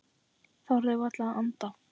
Þorði varla að anda.